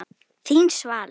Þín, Svala.